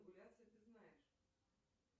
ты знаешь